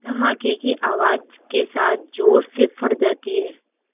धमाके की आवाज़ के साथ ज़ोर से फट जाती है